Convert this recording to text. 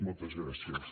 moltes gràcies